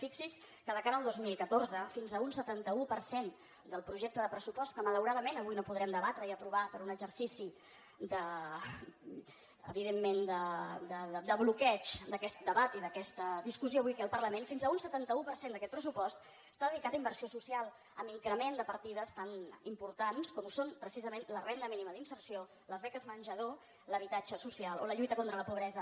fixi’s que de cara al dos mil catorze fins a un setanta un per cent del projecte de pressupost que malauradament avui no podrem de batre i aprovar per un exercici evidentment de bloqueig d’aquest debat i d’aquesta discussió avui aquí al parlament fins a un setanta un per cent d’aquest pressupost està dedicat a inversió social amb increment de partides tan importants com ho són precisament la renda mínima d’inserció les beques menjador l’habitatge social o la lluita contra la pobresa